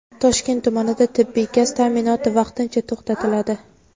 Toshkent tumanida tabiiy gaz ta’minoti vaqtincha to‘xtatiladi.